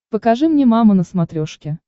покажи мне мама на смотрешке